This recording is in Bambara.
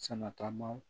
Sɛnɛ taama